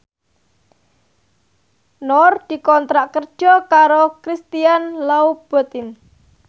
Nur dikontrak kerja karo Christian Louboutin